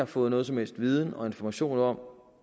fået nogen som helst viden og information om